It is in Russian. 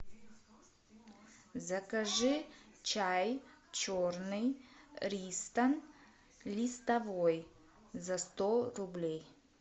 закажи чай черный ристон листовой за сто рублей